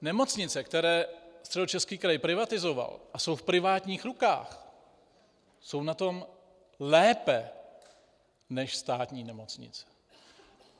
Nemocnice, které Středočeský kraj privatizoval a jsou v privátních rukách, jsou na tom lépe než státní nemocnice.